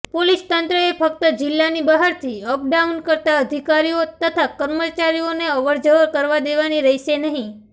police તંત્રએ ફક્ત જિલ્લાની બહારથી અપડાઉન કરતા અધિકારીઓ તથા કર્મચારીઓને અવરજવર કરવા દેવાની રહેશે નહી